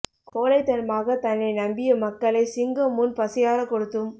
கோளைத்தன்மாக தன்னை நம்பிய மக்களை சிங்கம் முன் பசியாற கொடுத்தும்